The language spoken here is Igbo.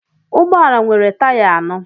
Ụgbọ ala nwere taya anọ